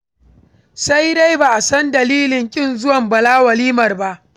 Sai dai, ba a san dalilin ƙin zuwan Bala walimar ba.